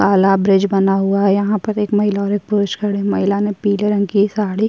काला ब्रिज बना हुआ है यहाँ पर एक महिला और एक पुरुष खड़े हैं महिला ने पीले रंग की साड़ी --